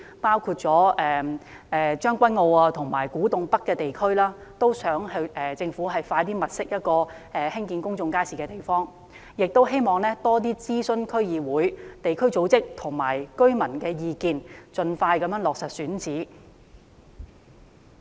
同時，在將軍澳和古洞北地區，亦希望政府盡快物色興建公眾街市的地方，並在過程中多諮詢區議會、地區組織和居民意見，盡快落實選址。